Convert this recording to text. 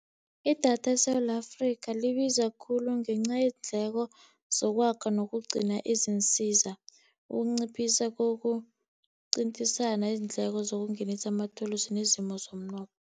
Idatha eSewula Afrika libiza khulu ngenca yeendleko zokwakha, nokugcina i zinsiza ukunciphisa kokuqintisana izindleko zokungenisa amathulusi nezimo zomnotho.